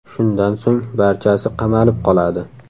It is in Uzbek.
Shundan so‘ng barchasi qamalib qoladi.